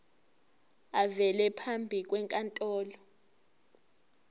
avele phambi kwenkantolo